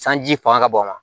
Sanji fanga ka bon wa